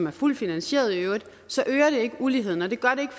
er fuldt finansieret så øger det ikke uligheden det gør det ikke